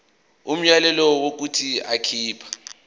umyalelo wokuthi akhipha